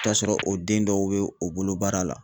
T'a sɔrɔ o den dɔw be o bolo baara la.